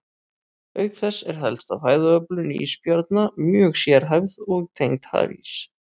Auk þess er helsta fæðuöflun ísbjarna mjög sérhæfð og tengd hafís.